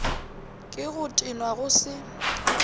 ke go tenwa go se